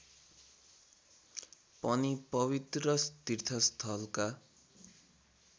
पनि पवित्र तीर्थस्थलका